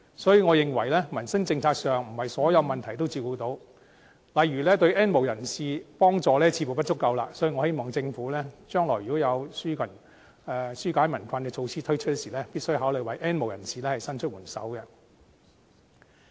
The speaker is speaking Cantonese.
當然，我認為在民生政策上，並非所有問題也照顧得到，例如對 "N 無人士"的幫助似乎不足，所以我希望政府將來推出紓解民困的措施時，必須考慮為 "N 無人士"伸出援手。